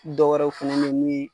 Dɔw wɛrɛw fɛnɛ nin bɛ.